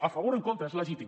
a favor o en contra és legítim